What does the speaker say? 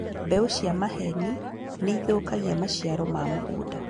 Mbeũ cia maheeni nĩithũkagia maciaro ma mũgũnda